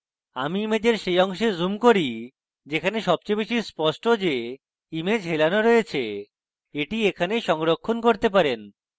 আমি ইমেজের সেই অংশে zoom করি যেখানে সবচেয়ে বেশী স্পষ্ট যে image হেলানো রয়েছে এটি এখানে সংরক্ষণ করতে পারেন